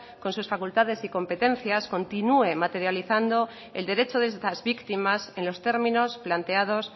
con sus facultades y competencias continúe materializando el derecho de estas víctimas en los términos planteados